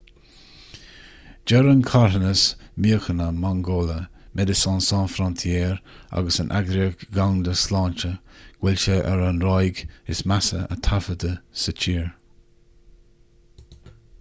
deir an carthanas míochaine mangola medecines sans frontieres agus an eagraíocht dhomhanda sláinte go bhfuil sé ar an ráig is measa a taifeadadh sa tír